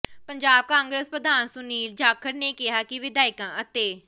ਪੰਜਾਬ ਕਾਂਗਰਸ ਪ੍ਰਧਾਨ ਸੁਨੀਲ ਜਾਖੜ ਨੇ ਕਿਹਾ ਕਿ ਵਿਧਾਇਕਾਂ ਅਤੇ